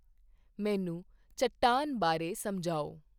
ਮੈਨੂੰ ਚੱਟਾਨ ਬਾਰੇ ਸਮਝਾਓ